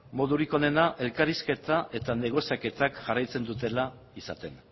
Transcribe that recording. modurik onena elkarrizketa eta negoziaketak jarraitzen dutela izaten